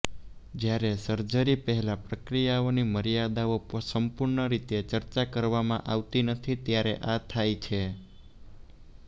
જ્યારે સર્જરી પહેલા પ્રક્રિયાઓની મર્યાદાઓ સંપૂર્ણ રીતે ચર્ચા કરવામાં આવતી નથી ત્યારે આ થાય છે